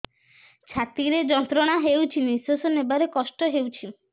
ଛାତି ରେ ଯନ୍ତ୍ରଣା ହେଉଛି ନିଶ୍ଵାସ ନେବାର କଷ୍ଟ ହେଉଛି